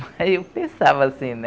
Mas eu pensava assim, né?